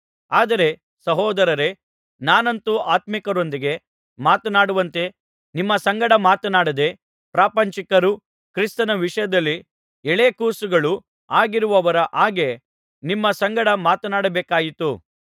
ಆದರೆ ಸಹೋದರರೇ ನಾನಂತೂ ಆತ್ಮೀಕರೊಂದಿಗೆ ಮಾತನಾಡುವಂತೆ ನಿಮ್ಮ ಸಂಗಡ ಮಾತನಾಡದೆ ಪ್ರಾಪಂಚಿಕರೂ ಕ್ರಿಸ್ತನ ವಿಷಯದಲ್ಲಿ ಎಳೆಗೂಸುಗಳೂ ಆಗಿರುವವರ ಹಾಗೆ ನಿಮ್ಮ ಸಂಗಡ ಮಾತನಾಡಬೇಕಾಯಿತು